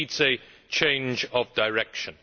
It needs a change of direction.